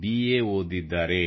B A ಓದಿದ್ದಾರೆ